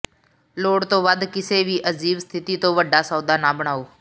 ਲੋੜ ਤੋਂ ਵੱਧ ਕਿਸੇ ਵੀ ਅਜੀਬ ਸਥਿਤੀ ਤੋਂ ਵੱਡਾ ਸੌਦਾ ਨਾ ਬਣਾਓ